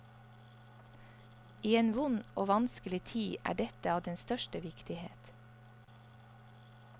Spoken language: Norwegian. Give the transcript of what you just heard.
I en vond og vanskelig tid er dette av den største viktighet.